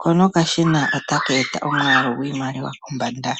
ko nokashina otaka eta omwaalu gwiimaliwa kombanda.